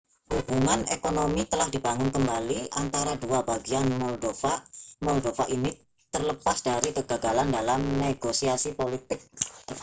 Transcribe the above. hubungan ekonomi telah dibangun kembali antara dua bagian moldova ini terlepas dari kegagalan dalam negosiasi politik